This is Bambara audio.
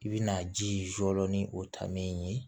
I bi na ji jɔ ni o ta m ye